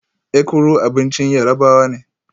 Ekuru abincin Yarabawa ne